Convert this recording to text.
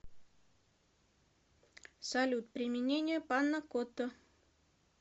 салют применение панакотта